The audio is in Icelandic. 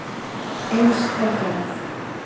Eins er gerð